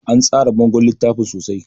An tsara bangon littafin sosai